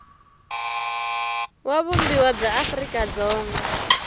wa vumbiwa bya afrika dzonga